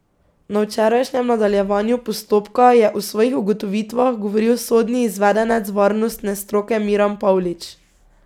Na včerajšnjem nadaljevanju postopka je o svojih ugotovitvah govoril sodni izvedenec varnostne stroke Miran Pavlič.